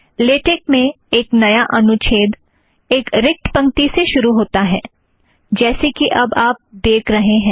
LaTeX में एक नया अनुच्छेद एक रिक्त पंक्ति से शुरू होता है जैसे कि अब आप देख रहें हैं